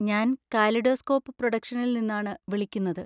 ഞാൻ കാലിഡോസ്കോപ്പ് പ്രൊഡക്ഷൻസിൽ നിന്നാണ് വിളിക്കുന്നത്.